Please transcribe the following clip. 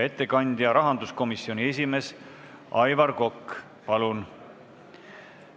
Ettekandja rahanduskomisjoni esimees Aivar Kokk, palun!